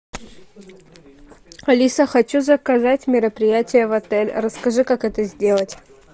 алиса хочу заказать мероприятие в отель расскажи как это сделать